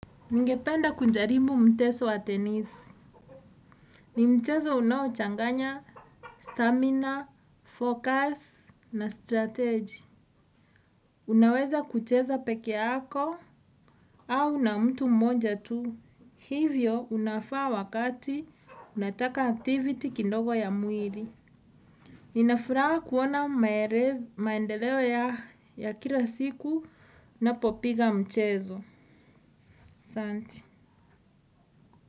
Ningependa kunjarimbu mteso wa tenisi. Ni mchezo unaochanganya stamina, focus, na strategy. Unaweza kucheza peke yako au na mtu mmonja tu. Hivyo unafaa wakati unataka activity kindogo ya muiri. Ninafuraha kuona maendeleo ya kila siku napopiga mchezo. Santi.